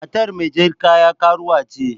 Matar mai jar kaya karuwa ce.